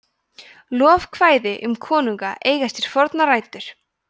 lofkvæði um konunga eiga sér fornar rætur